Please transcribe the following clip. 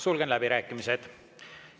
Sulgen läbirääkimised.